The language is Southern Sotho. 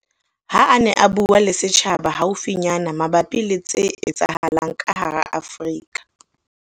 Ha a ne a bua le setjhaba haufinyana mabapi le tse etsahalang ka hara Afrika